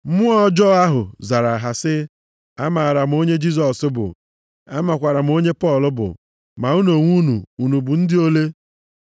Mmụọ ọjọọ ahụ zara ha sị, “Amaara m onye Jisọs bụ, amakwaara m onye Pọl bụ, ma unu onwe unu, unu bụ ndị ole?”